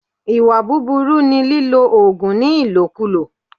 Ìwà búbúrú ni lílo òògùn ní ìlòkulò